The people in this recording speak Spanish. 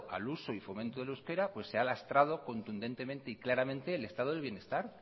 al uso y fomento del euskera pues se ha lastrado contundentemente y claramente el estado del bienestar